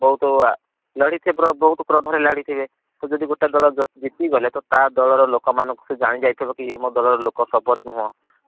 ବହୁତ ଲଢିଥିବେ ପୁରା ବହୁତ୍ ପପ୍ରାଧା ରେ ଲାଧିଥିବେ କିନ୍ତୁ ଯଦି ଗୋଟେ ଦଳ ଜିତି ଗଲେ ତା ଦଳ ର ଲୋକ ମନକୁଂ ସେ ଜାଣିଯାଇ ଥିବ କି ଇଏ ମୋ ଦଳ ର ଲୋକ support ନୁହଁ।